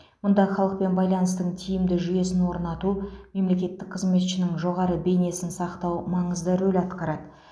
мұнда халықпен байланыстың тиімді жүйесін орнату мемлекеттік қызметшінің жоғары бейнесін сақтау маңызды рөл атқарады